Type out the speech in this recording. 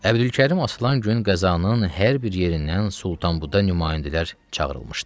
Əbdülkərim aslan gün qəzanın hər bir yerindən Sultanbudan nümayəndələr çağırılmışdı.